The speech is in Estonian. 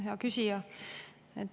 Hea küsija!